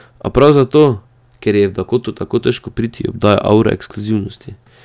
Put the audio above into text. A prav zato, ker je v Dakoto tako težko priti, jo obdaja avra ekskluzivnosti.